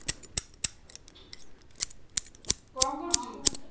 କଣ କରୁଛୁ?